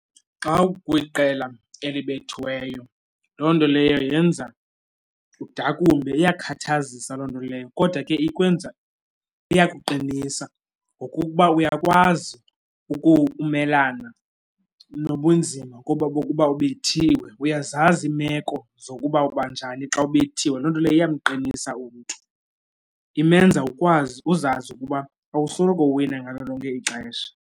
Xa ukwiqela elibethiweyo loo nto leyo yenza udakumbe, iyakhathazisa loo nto leyo kodwa ke iyakuqinisa ngokuba uyakwazi ukumelana nobunzima bokuba ebethiwe, uyazazi iimeko zokuba uba njani xa ubethiwe. Loo nto leyo iyamqinisa umntu imenza akwazi uzazi ukuba awusoloko uwina ngalo lonke ixesha.